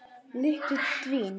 Lyktin dvín.